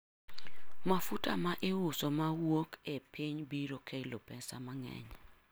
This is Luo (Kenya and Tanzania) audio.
mafuta maiuso mawuok ei piny biro kelo pesa man'geny'